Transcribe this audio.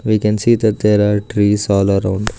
we can see that there are trees all around